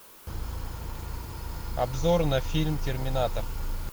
обзор на фильм терминатор